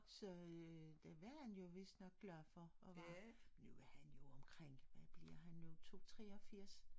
Så øh ja det er han jo vidst nok glad for og var men nu er han jo omkring hvad bliver han nu 2 83?